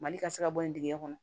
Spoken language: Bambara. Mali ka se ka bɔ yen dingɛ kɔnɔ